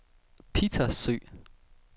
Pittersø